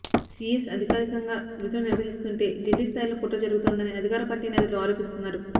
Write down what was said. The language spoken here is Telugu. సీఎస్ అధికారికంగా విధులు నిర్వహిస్తుంటే ఢిల్లీ స్థాయిలో కుట్ర జరుగుతోందని అధికార పార్టీ నేతలు ఆరోపిస్తున్నారు